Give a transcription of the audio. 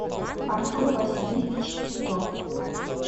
артур васильевич титов